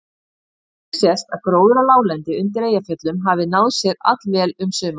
Einnig sést að gróður á láglendi undir Eyjafjöllum hafði náð sér allvel um sumarið.